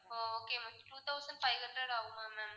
ஓ okay ma'am two thousand five hundred ஆகுமா ma'am